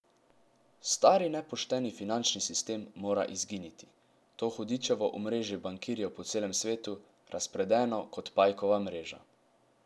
Stari nepošteni finančni sistem mora izginiti, to hudičevo omrežje bankirjev po celem svetu, razpredeno kot pajkova mreža.